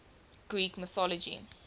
greek mythology